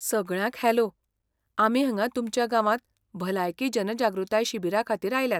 सगळ्यांक हॅलो, आमी हांगा तुमच्या गांवांत भलायकी जनजागृताय शिबिराखातीर आयल्यात.